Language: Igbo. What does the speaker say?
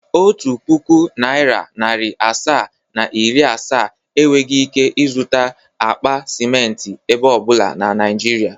Otu pụkụ naira narị asaa, na iri asaa enweghi ike izụta akpa simenti ebe ọbụla na Naịjịrịa.